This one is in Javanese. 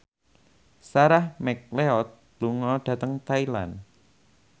Sarah McLeod lunga dhateng Thailand